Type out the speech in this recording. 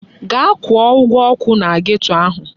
Gaa kwụọ ụgwọ ọkụ na geto ahụ!